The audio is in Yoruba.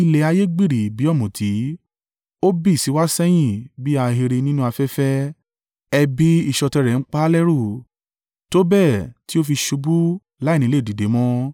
Ilẹ̀ ayé yí gbiri bí ọ̀mùtí, ó bì síwá sẹ́yìn bí ahéré nínú afẹ́fẹ́; ẹ̀bi ìṣọ̀tẹ̀ rẹ̀ ń pa á lẹ́rù tó bẹ́ẹ̀ tí ó fi ṣubú láìní lè dìde mọ́.